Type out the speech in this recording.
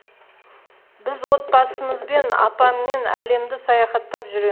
біз отбасымызбен апаммен әлемді саяхаттап жүрем